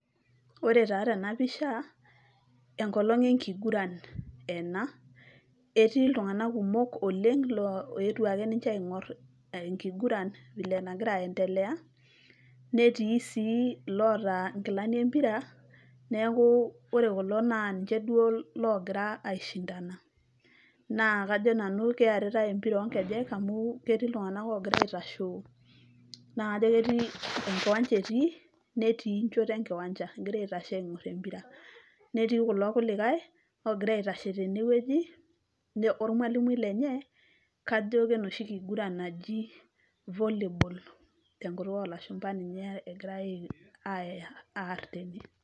Ore taa tenapisha, enkolong enkiguran ena. Etii iltung'anak kumok oleng',lo oetuo ake ninche aing'or enkiguran vile aendelea, netii si loota inkilani empira, neeku ore kulo na ninche duo logira ai shindana ,naa kajo nanu keeritai empira onkejek amu ketii iltung'anak ogira aitashoo, na kajo ketii, enkiwanja etii, netii enchoto enkiwanja, egira aitashe aing'or empira. Netii kulo kulikae, ogira aitashe tenewueji ormalimui lenye, kajo kenoshi kiguran naji volleyball, tenkutuk olashumpa ninye egirai aya aar tene.